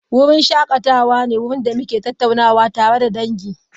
Wurin shakatawa ne wuraren da muke tattaunawa tare da dangi.